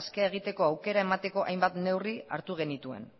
askea egiteko aukera emateko hainbat neurri hartu genituen